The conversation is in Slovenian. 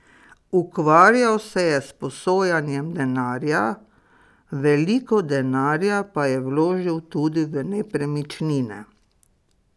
Ukvarjal se je s posojanjem denarja, veliko denarja pa je vložil tudi v nepremičnine.